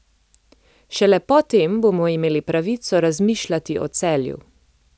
Šele po tem bomo imeli pravico razmišljati o Celju.